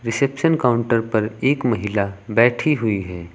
Reception counter पर एक महिला बैठी हुई है।